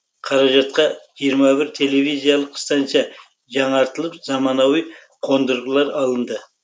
қаражатқа жиырма бір телевизиялық станция жаңартылып заманауи қондырғылар алынды